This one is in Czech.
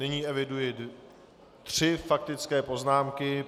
Nyní eviduji tři faktické poznámky.